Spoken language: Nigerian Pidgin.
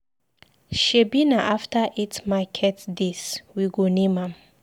Shebi na after eight market days we go name am.